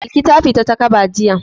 Balki ta fita takaba jiya.